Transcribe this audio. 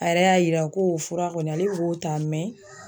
A yɛrɛ y'a yira ko o fura kɔni ale be k'o ta mɛ